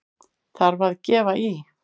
Þarf að gefa í!